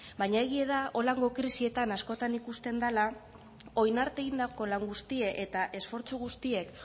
baina egie da holango krisietan askotan ikusten dela orain arte egindako lan guztie eta esfortzu guztiek